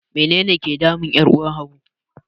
Menene ke damun 'yar uwar Habu?